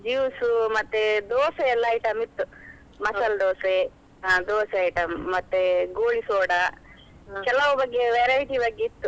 Juice ಮತ್ತೆ Dosa ಎಲ್ಲಾ item ಇತ್ತು Masala Dosa Dosa item , goli soda, ಕೆಲವ್ ಬಗೆಯ variety ಬಗೆ ಇತ್ತು.